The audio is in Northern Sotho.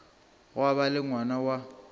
gwa ba le ngwana wa